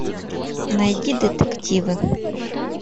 найди детективы